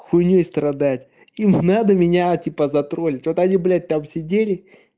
хуйнёй страдать им надо меня типа затроллить вот они блять там сидели